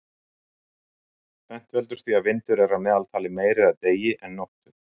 tvennt veldur því að vindur er að meðaltali meiri að degi en nóttu